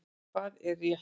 Hvað er rétt?